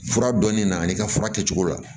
Fura dɔnnin na n'i ka fura kɛcogo la